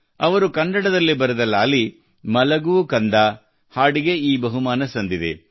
ಅವರು ಕನ್ನಡದಲ್ಲಿ ಬರೆದ ಲಾಲಿ ಮಲಗು ಕಂದಾ ಹಾಡಿಗೆ ಈ ಬಹುಮಾನ ಸಂದಿದೆ